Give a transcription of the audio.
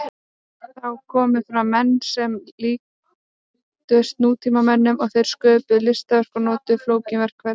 Þá komu fram menn sem líktust nútímamönnum og þeir sköpuðu listaverk og notuðu flókin verkfæri.